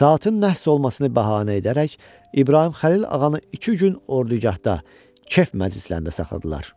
Saatin nəhs olmasını bəhanə edərək, İbrahim Xəlil ağanı iki gün ordugahda kef məclislərində saxladılar.